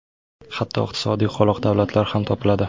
Hatto iqtisodiy qoloq davlatlar ham topiladi.